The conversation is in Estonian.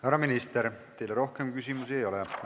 Härra minister, teile rohkem küsimusi ei ole.